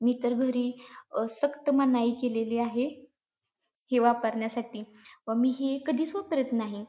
मी तर घरी अ सक्त मनाई केलेली आहे हे वापरण्यासाठी व मी हे कधीच वापरत नाही.